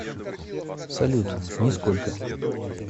салют нисколько